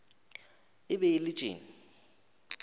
e be e le tše